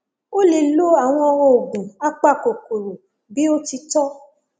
ó lè lo àwọn oògùn apakòkòrò bí ó ti tọ